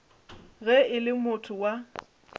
ge e le motho wa